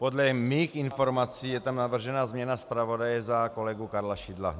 Podle mých informací je tam navržena změna zpravodaje za kolegu Karla Šidla.